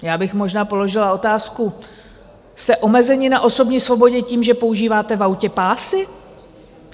Já bych možná položila otázku: jste omezeni na osobní svobodě tím, že používáte v autě pásy?